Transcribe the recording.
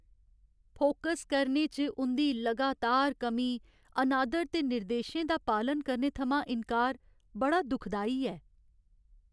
Focus करने च उं'दी लगातार कमी, अनादर ते निर्देशें दा पालन करने थमां इन्कार बड़ा दुखदाई ऐ।